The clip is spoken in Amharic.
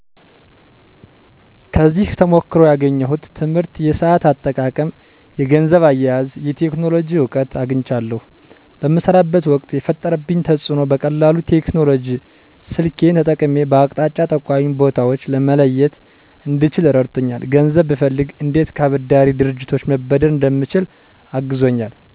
ከዚህ ተሞክሮ ያገኘሁት ትምህርት የሰአት አጠቃቀም የገንዘብ አያያዝ የቴክኖሎጂ እውቀት አግኝቻለሁ በምሰራበት ወቅት የፈጠረብኝ ተፅእኖ በቀላሉ ቴክኖሎጂ ስልኬን ተጠቅሜ በአቅጣጫ ጠቋሚ ቦታወችን መለየት እንድችል ረድቶኛል ገንዘብ ብፈልግ እንዴት ከአበዳሪ ድርጅቶች መበደር እንደምችል አግዞኛል